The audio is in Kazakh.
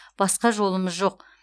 басқа жолымыз жоқ